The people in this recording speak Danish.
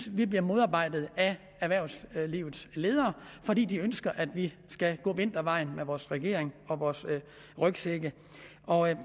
vi bliver modarbejdet af erhvervslivets ledere fordi de ønsker at vi skal gå vintervejen med vores regering og vores rygsække